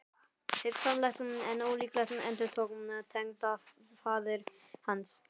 Hugsanlegt en ólíklegt endurtók tengdafaðir hans.